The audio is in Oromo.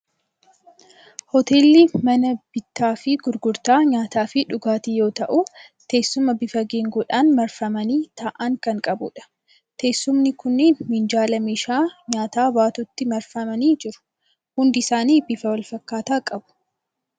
Hoteelli mana bittaa fi gurgurtaa nyaataa fi dhugaatii yoo ta'u, teessuma bifa geengoodhaan marfamanii taa'an kan qabudha. Teessumni kunneen minjaala meeshaa nyaataa baatutti marfamanii jiru. Hundi isaanii bifa wal fakkaataa qabu.